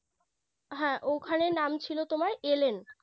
হ্যাঁ ওখানে নাম ছিল তোমার Elen